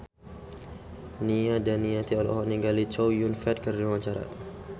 Nia Daniati olohok ningali Chow Yun Fat keur diwawancara